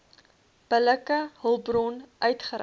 billike hulpbron uitgereik